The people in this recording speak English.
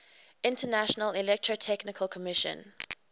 international electrotechnical commission